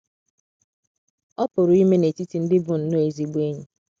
Ọ PỤRỤ ime n’etiti ndị bụ nnọọ ezigbo enyi.